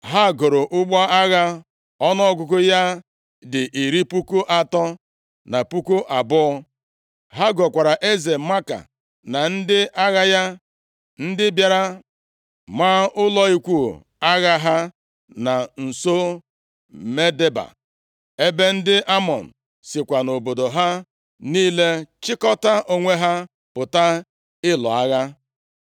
Ha goro ụgbọ agha ọnụọgụgụ ya dị iri puku atọ, na puku abụọ. Ha gokwara eze Maaka na ndị agha ya, ndị bịara maa ụlọ ikwu agha ha na nso Medeba, ebe ndị Amọn sikwa nʼobodo ha niile chịkọta onwe ha pụta ịlụ agha.